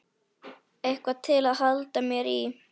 Eitthvað til að halda mér í.